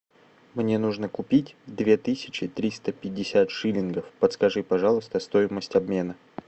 мне нужно купить две тысячи триста пятьдесят шиллингов подскажи пожалуйста стоимость обмена